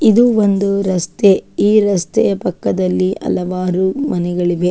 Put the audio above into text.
ಇದು ಒಂದು ರಸ್ತೆ ಈ ರಸ್ತೆಯ ಪಕ್ಕದಲ್ಲಿ ಹಲವಾರು ಮನೆಗಳಿವೆ.